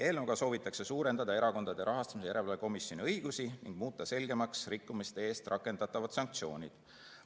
Eelnõuga soovitakse suurendada Erakondade Rahastamise Järelevalve Komisjoni õigusi ning muuta selgemaks rikkumiste eest rakendatavad sanktsioonid.